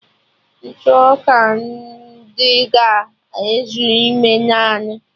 Ntụ ọka dị ga-ezu ime naanụ